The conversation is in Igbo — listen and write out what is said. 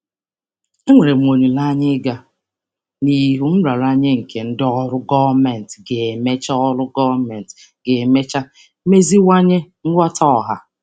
Enwere m olileanya ịga n'ihu nraranye nke ndị ọrụ gọọmentị ga-emecha ọrụ gọọmentị ga-emecha meziwanye nghọta ọha.